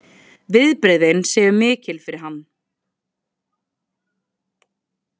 Viðbrigðin séu mikil fyrir hann